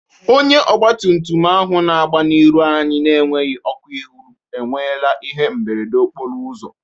Onye ọgbatumtum ahụ na-agba n'iru anyị na-enweghi ọkụ ihụ enwela ihe mberede okporo ụzọ